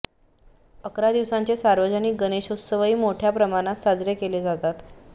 अकरा दिवसांचे सार्वजनिक गणेशोत्सवही मोठय़ा प्रमाणात साजरे केले जातात